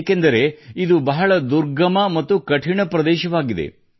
ಏಕೆಂದರೆ ಇದು ಬಹಳ ದುರ್ಗಮ ಮತ್ತು ಕಠಿಣ ಪ್ರದೇಶವಾಗಿದೆ